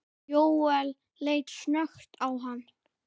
Jóel leit snöggt á hann.